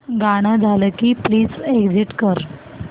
गाणं झालं की प्लीज एग्झिट कर